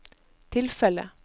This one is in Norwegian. tilfellet